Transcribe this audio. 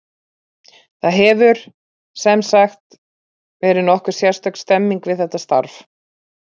Það hefur, sem sagt, verið nokkuð sérstök stemming við þetta starf.